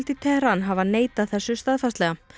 í Teheran hafa neitað þessu staðfastlega